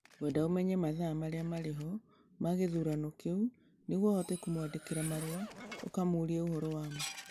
Ngwenda ũmenye mathaa marĩa marĩ ho ma gĩthurano kĩu nĩguo ũhote kũmwandĩkĩra marũa ũkamũũrie ũhoro wamo